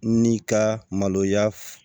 N'i ka maloya